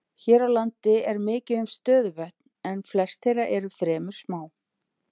Hér á landi er mikið um stöðuvötn en flest þeirra eru fremur smá.